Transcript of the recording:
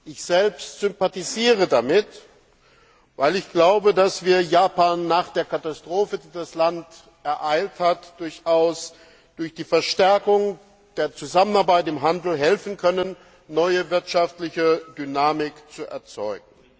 Ich selbst sympathisiere damit, weil ich glaube, dass wir Japan nach der Katastrophe, die das Land ereilt hat, durchaus durch die Verstärkung der Zusammenarbeit im Handel helfen können, neue wirtschaftliche Dynamik zu erzeugen.